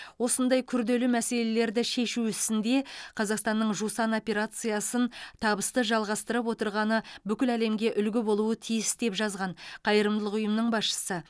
осындай күрделі мәселелерді шешу ісінде қазақстанның жусан операциясын табысты жалғастырып отырғаны бүкіл әлемге үлгі болуы тиіс деп жазған қайырымдылық ұйымының басшысы